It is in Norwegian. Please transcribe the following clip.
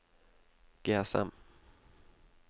GSM